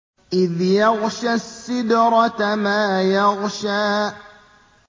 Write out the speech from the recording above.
إِذْ يَغْشَى السِّدْرَةَ مَا يَغْشَىٰ